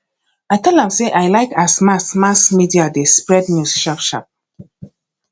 i tell am sey i like as mass mass media dey spread news sharpsharp